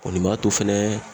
O ni m'a to fɛnɛ